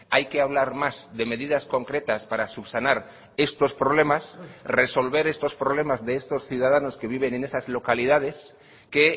hay que hablar más de medidas concretas para subsanar estos problemas resolver estos problemas de estos ciudadanos que viven en esas localidades que